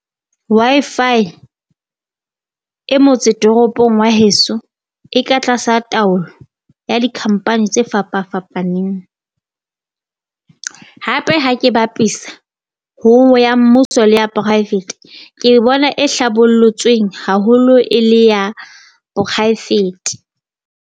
Wi-Fi e motse toropong wa heso e ka tlasa taolo ya di-company tse fapafapaneng. Hape ha ke bapisa ho nngwe ya mmuso le ya private ke e bona e hlabollotsweng haholo e le ya poraefete.